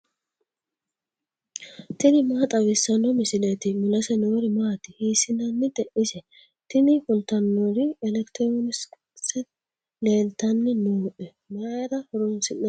tini maa xawissanno misileeti ? mulese noori maati ? hiissinannite ise ? tini kultannori elekitiroonikise leeltanni nooe. mayra horoonsi'annite ise